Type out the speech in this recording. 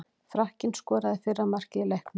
Frakkinn skoraði fyrra markið í leiknum.